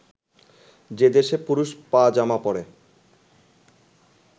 যে দেশে পুরুষ পা-জামা পরে